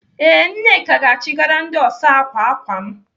Ee, Nneka ga-achịgara ndị ọsa ákwà ákwà m.